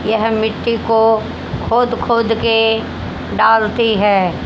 यह मिट्टी को खोद खोद के डालती है।